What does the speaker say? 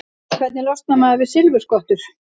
Hvernig losnar maður við silfurskottur?